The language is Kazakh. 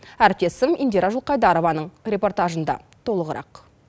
әріптесім индира жұлқайдарованың репортажында толығырақ